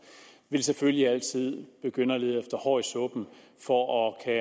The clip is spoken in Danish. vil selvfølgelig altid begynde at lede efter hår i suppen for at